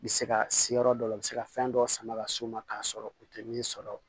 U bɛ se ka se yɔrɔ dɔ la u bɛ se ka fɛn dɔ sama ka s'u ma k'a sɔrɔ u tɛ min sɔrɔ